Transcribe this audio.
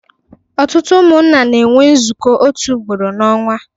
Ọtụtụ umụnna na enwe nzuko otu ugboro n'onwa